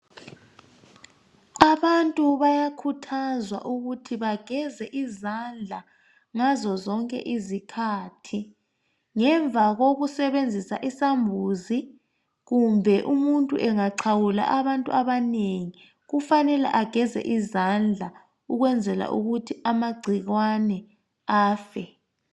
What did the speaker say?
Abantu bayakhuthazwa ukuthi bageze izandla ngazozonke izikhathi. Ngemva kokusebenzisa isambuzi kumbe umuntu engaxhawula abantu abanengi kufanele ageze izandla ukwenzela ukuthi amagcikwane afe.